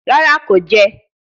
Rara, ko jẹ ẹ